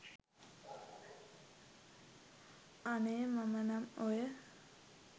අනේ මම නම් ඔය